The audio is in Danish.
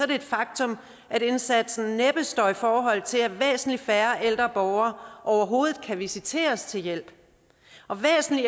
det et faktum at indsatsen næppe står i forhold til at væsentlig færre ældre borgere overhovedet kan visiteres til hjælp og væsentlig